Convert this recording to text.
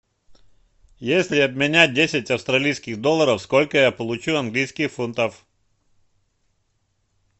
если обменять десять австралийских долларов сколько я получу английских фунтов